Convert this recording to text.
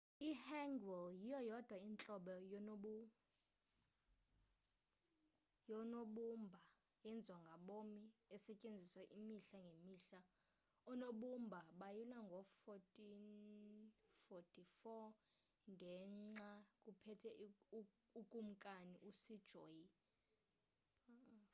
i-hangeul yiyo yodwa intlobo yoonobumbao eyenziwa ngabom esetyenziswa imihla ngemihla. oonobumba bayilwa ngo-1444 ngexa kuphethe ukumkani u-sejong 1418 – 1450